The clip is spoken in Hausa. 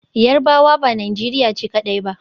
Yarbawa ba Najeriya ce kadai ba.